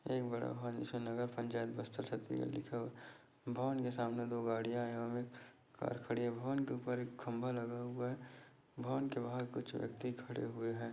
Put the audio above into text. एक बड़ा भवन जिसमें नगर पंचायत बस्तर छत्तीसगढ़ लिखा हुआ है भवन के सामने दो गाड़ियां है एक कार खड़ी है भवन के ऊपर एक खंभा लगा हुआ है भवन के बाहर कुछ व्यक्ति खड़े हुए हैं।